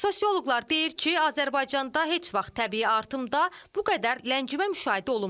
Sosioloqlar deyir ki, Azərbaycanda heç vaxt təbii artımda bu qədər ləngimə müşahidə olunmayıb.